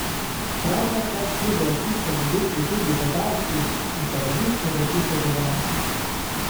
Prav ta čas pridejo k tistemu duplu tudi vedavki in se različne reči pogovarjajo.